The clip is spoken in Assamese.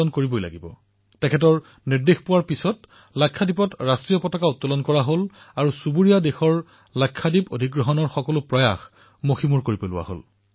তেওঁলোকে পেটেলৰ সেই আদেশ অনুসৰি তাত ত্ৰিৰংগা উৰুৱালে আৰু লাক্ষাদ্বীপ অধিগ্ৰহণ কৰিবলৈ অহা চুবুৰীয়াৰ প্ৰয়াস চূৰমাড় কৰিলে